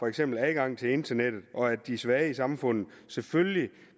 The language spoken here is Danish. eksempel har adgang til internettet og at de svage i samfundet selvfølgelig